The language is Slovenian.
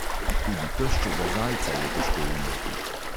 Tudi teščega zajca je težko ujeti.